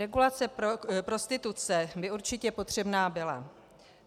Regulace prostituce by určitě potřebná byla.